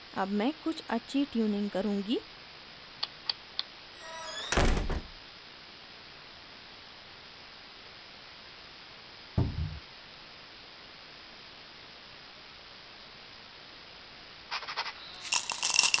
अब मैं कुछ अच्छी tuning करुँगी